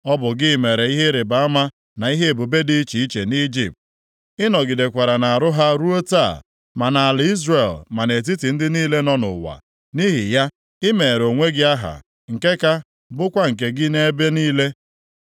Ọ bụ gị mere ihe ịrịbama na ihe ebube dị iche iche nʼIjipt. Ị nọgidekwara na-arụ ha ruo taa, ma nʼala Izrel ma nʼetiti ndị niile nọ nʼụwa. Nʼihi ya, i meere onwe gị aha nke ka bụkwa nke gị nʼebe niile.